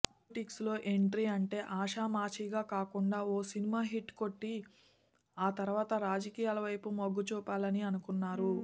politics లో entry అంటే ఆషామాషీగా కాకుండా ఓ సినిమా హిట్ కొట్టి ఆ తరువాత రాజకీయాలవైపు మొగ్గుచూపాలని అనుకున్నారు